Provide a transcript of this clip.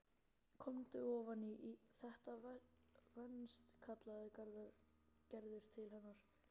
Komdu ofan í, þetta venst kallaði Gerður til hennar.